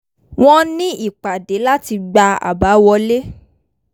wọ́n ní ìpàdé láti gba àbá wọlé